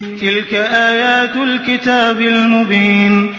تِلْكَ آيَاتُ الْكِتَابِ الْمُبِينِ